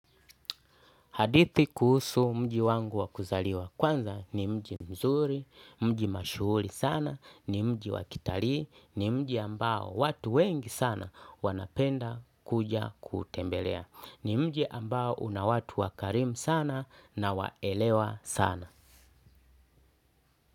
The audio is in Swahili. Hadithi kuhusu mji wangu wakuzaliwa kwanza ni mji mzuri, mji mashuhuli sana, ni mji wakitali, ni mji ambao watu wengi sana wanapenda kuja kuutembelea, ni mji ambao una watu wakarim sana na waelewa sana.